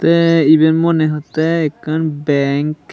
tey ebey monehottey ekkan bank.